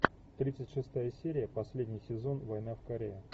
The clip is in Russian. тридцать шестая серия последний сезон война в корее